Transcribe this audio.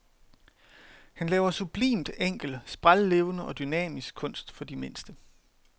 Han laver sublimt enkel, sprællevende og dynamisk kunst for de mindste.